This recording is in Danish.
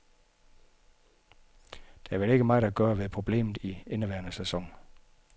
Der er vel ikke meget at gøre ved problemet i indeværende sæson.